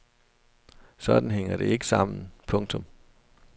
Sådan hænger det ikke sammen. punktum